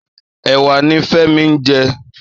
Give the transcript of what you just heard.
Èwà ni Femi n jè